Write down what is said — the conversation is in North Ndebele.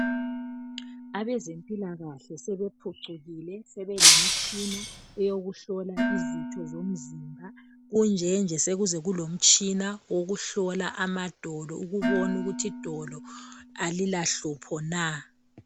Abezempilakahle sebephucukile sebelemitshina eyokuhlola izitho zomzimba .Kunjenje sekulomtshina owokuhlola amadola ukubona ukuthi idolo alilahlupho na.